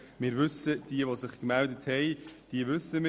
Jene Gemeinden, die sich gemeldet haben, sind uns bekannt.